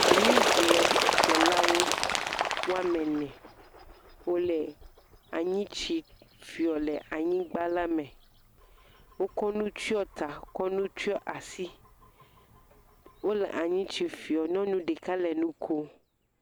Anyi gble ɖeka woame ene wo le anyitsi fiɔ le anyigba la me. Wo kɔ nu tsyɔ ta, wo kɔ nu tsyɔ asi, wo le anyitsi fiɔ. Nyɔnu ɖeka le enu ko.